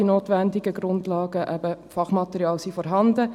Die notwendigen Grundlagen an Fachmaterial sind vorhanden.